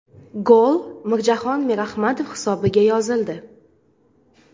Gol Mirjahon Mirahmadov hisobiga yozildi.